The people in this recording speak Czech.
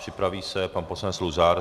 Připraví se pan poslanec Luzar.